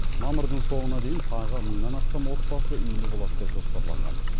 мамырдың соңына дейін тағы мыңнан астам отбасы үйлі болады деп жоспарланған